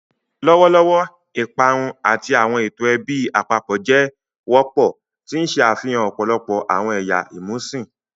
Lọwọlọwọ, iparun ati awọn eto ẹbi apapọ jẹ wọpọ, ti n ṣe afihan ọpọlọpọ awọn ẹya imusin.